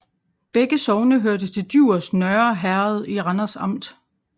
Begge sogne hørte til Djurs Nørre Herred i Randers Amt